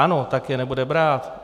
Ano, tak je nebude brát.